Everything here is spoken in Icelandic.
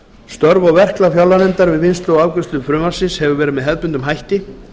störf og verklag fjárlaganefndar alþingis við vinnslu og afgreiðslu frumvarpsins hefur verið með hefðbundnum hætti